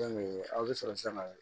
aw bɛ sɔrɔ sisan ka